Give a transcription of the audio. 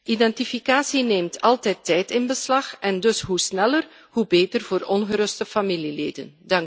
Identificatie neemt altijd tijd in beslag en dus hoe sneller, hoe beter voor ongeruste familieleden.